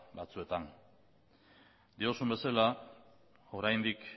batzuetan diozun bezala oraindik